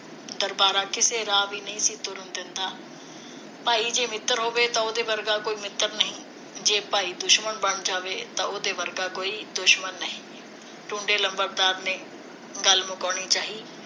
ਦਰਬਾਰਾ ਕਿਸੇ ਰਾਹ ਵੀ ਨਹੀ ਤੁਰਨ ਦਿੰਦਾ ਭਾਈ ਜੇ ਮਿੱਤਰ ਹੋਵੇ ਤਾਂ ਉਹਦੇ ਵਰਗਾ ਕੋਈ ਮਿੱਤਰ ਨਹੀ ਜੇ ਭਾਈ ਦੁਸ਼ਮਣ ਬਣ ਜਾਵੇ ਤਾਂ ਉਹਦੇ ਵਰਗਾ ਕੋਈ ਦੁਸ਼ਮਣ ਨਹੀ ਟੁੰਡੇ ਲੰਬੜਦਾਰ ਨੇ ਗੱਲ ਮੁਕਾਉਣੀ ਚਾਹੀ